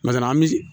an bɛ